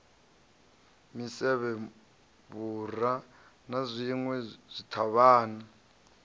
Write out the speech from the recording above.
misevhe vhura na zwinwe zwithavhani